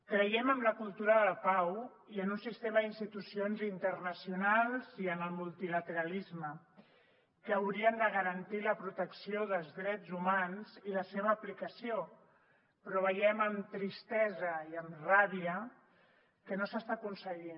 creiem en la cultura de la pau i en un sistema d’institucions internacionals i en el multilateralisme que haurien de garantir la protecció dels drets humans i la seva aplicació però veiem amb tristesa i amb ràbia que no s’està aconseguint